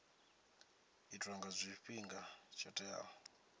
itwa nga tshifhinga tsho teaho